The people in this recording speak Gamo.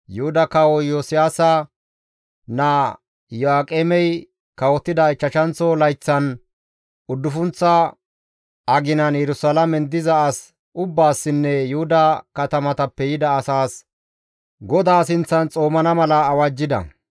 Yuhuda kawo Iyosiyaasa naa Iyo7aaqemey kawotida ichchashanththo layththan, uddufunththa aginan, Yerusalaamen diza as ubbaassinne Yuhuda katamatappe yida asaas GODAA sinththan xoomana mala awajjida.